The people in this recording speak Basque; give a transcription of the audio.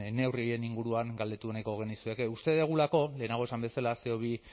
neurri horien inguruan galdetu nahiko genizueke uste dugulako lehenago esan bezala ce o bi